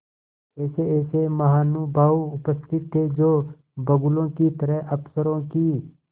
ऐसेऐसे महानुभाव उपस्थित थे जो बगुलों की तरह अफसरों की